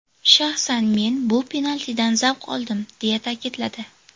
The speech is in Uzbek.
Shaxsan men bu penaltidan zavq oldim”, ― deya ta’kidladi.